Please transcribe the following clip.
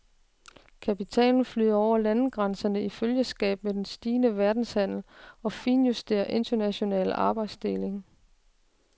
Kapitalen flyder over landegrænserne i følgeskab med den stigende verdenshandel og finjusterede internationale arbejdsdeling.